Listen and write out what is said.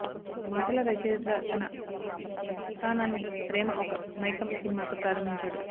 మాటల రచయితగా తన ప్రస్థానాన్ని ప్రేమ ఒక మైకం సినిమాతో ప్రారంభించాడు